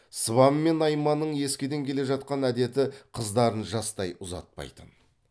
сыбан мен найманның ескіден келе жатқан әдеті қыздарын жастай ұзатпайтын